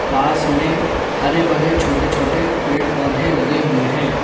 पास में हरे भरे छोटे छोटे पेड़ पौधे लगे हुए हैं।